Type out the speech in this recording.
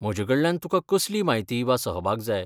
म्हजेकडल्यान तुका कसली म्हायती वा सहभाग जाय?